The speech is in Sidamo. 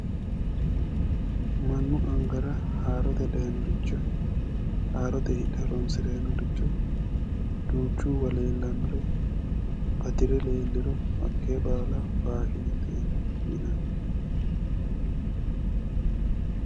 mannu angara haarote dayiinoriho haarot iibbe horonsiranni nooricho duuchhuwa leellannore batire leelliro hatte baala faashinete yinanni.